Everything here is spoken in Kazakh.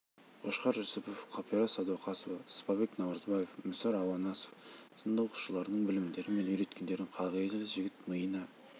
қошқар жүсіпов қапира садуақасова сыпабек наурызбаев мүсір ауанасов сынды оқытушыларының білімдері мен үйреткендерін қағілез жігіт миына